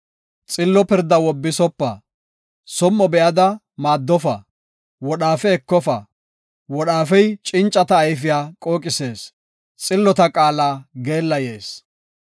Xillo pirdaa wobbisopa; som7o be7ada maaddofa; wodhaafe ekofa. Wodhaafey cincata ayfiya qooqisees, xillota qaala geellayees.